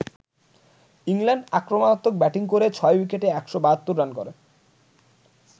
England আক্রমণাত্মক batting করে ৬ উইকেটে ১৭২ রান করে।